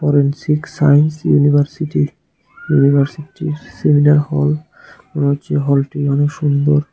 Forensic science university ইউনিভার্সিটির seminar hall মনে হচ্ছে হলটি অনেক সুন্দর।